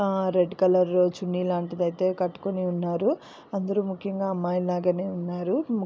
ఆ red colour chunni లాంటిదైతే కట్టుకుని ఉన్నారు. అందరూ ముఖ్యంగా అమ్మాయి లాగానే ఉన్నారు.